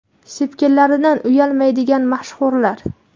Sepkillaridan uyalmaydigan mashhurlar .